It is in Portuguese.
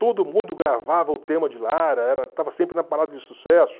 Todo mundo gravava o tema de Lara, era estava sempre na parada de sucesso.